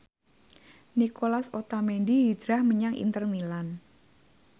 Nicolas Otamendi hijrah menyang Inter Milan